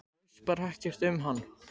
Þú veist bara ekkert um hann?